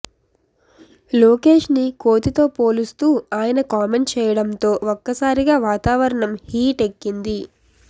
లోకేష్ ని కోతితో పోలుస్తూ ఆయన కామెంట్ చేయడంతో ఒక్కసారిగా వాతావరణం హీట్ ఎక్కింది